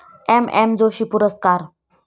M M Joshi पुरस्कार